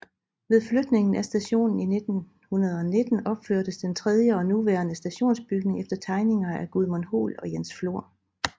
Ved flytningen af stationen i 1919 opførtes den tredje og nuværende stationsbygning efter tegninger af Gudmund Hoel og Jens Flor